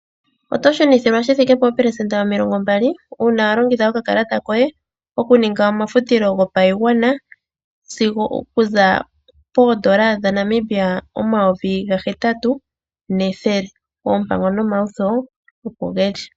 Oto shunithilwa shithike pe pelesenda omilongombali una walongitha okakalata koye okuninga omafutilo ngopayingwana okuza pondola dhaNamibia omayovi ngahetatu nethele, opango nomawutho opo ngeli.